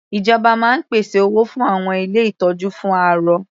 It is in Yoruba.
Ìjọba máa ń pèsè owó fún àwọn ilé ìtọ́jú fún arọ.